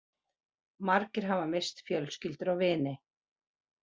Margir hafa misst fjölskyldur og vini